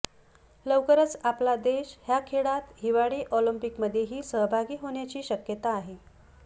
लवकरच आपला देश ह्या खेळात हिवाळी ऑलिम्पिकमध्येही सहभागी होण्याची शक्यता आहे